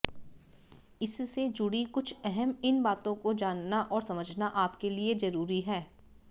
इससे जुड़ी कुछ अहम इन बातों को जानना और समझना आपके लिए जरुरी है